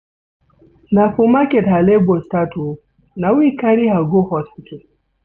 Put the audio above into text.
Na for market her labor start o, na we carry her go hospital.